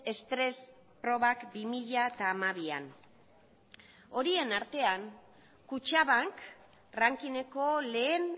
estres probak bi mila hamabian horien artean kutxabank rankingeko lehen